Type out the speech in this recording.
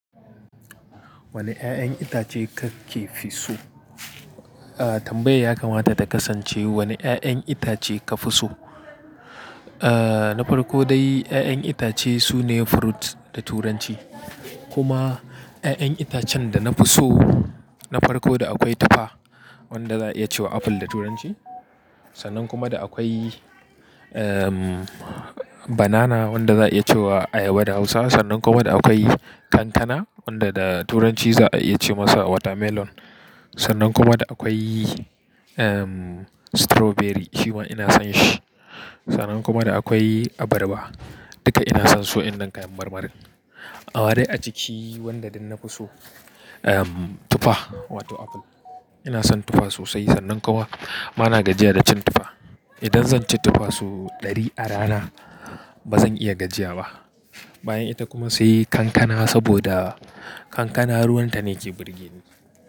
Wane ƴaƴan itace kake fi so? Ah tambayar yaka mata ta kasance wane ƴaƴan itace ka fi so? Ah na farko dai ƴaƴan itace sune fruit da turanci. Kuma ƴaƴan itacen da na fi so na farko da akwai tufa wanda za a iya cewa apple da turanci. Sannan kuma da akwai ehm banana wanda za a iya cewa ayaba da hausa. Sannan kuma da akwai kankana wanda da turanci za a iya ce masa watermelon. Sannan kuma da akwai ehm strawberry shi ma ina son shi. Sannan kuma da akwai abarba duka ina son su waƴanan kayan marmarin. Amma dai a ciki wanda duk na fi so ehm tufa wato apple. Ina son tufa sosai sannan kuma bana gajiya da cin tufa. Idan zan ci tufa sau ɗari a rana bazan iya gajiya ba. Bayan ita kuma sai kankana saboda kankana ruwan ta ne ke burge ni.